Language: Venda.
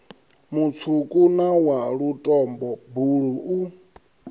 mutswuku na wa lutombo buluu